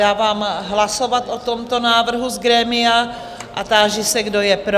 Dávám hlasovat o tomto návrhu z grémia a táži se, kdo je pro?